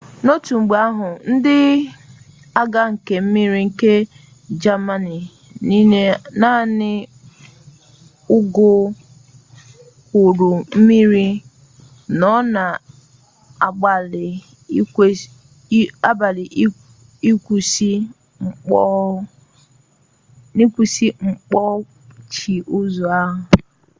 n'otu mgbe ahụ ndị agha nke mmiri nke jamanị n'iji naanị ụgbọokpurummiri nọ na-agbalị ịkwụsị mkpọchi ụzọ a